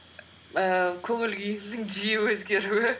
ііі көңіл күйімнің жиі өзгеруі